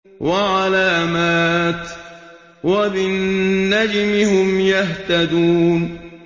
وَعَلَامَاتٍ ۚ وَبِالنَّجْمِ هُمْ يَهْتَدُونَ